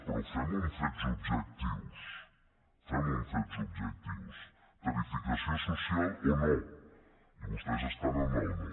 però fem ho amb fets objectius fem ho amb fets objectius tarifació social o no i vostès estan en el no